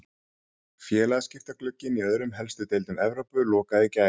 Félagaskiptaglugginn í öðrum helstu deildum Evrópu lokaði í gær.